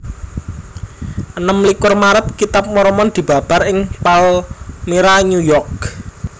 Enem likur Maret Kitab Mormon dibabar ing Palmyra New York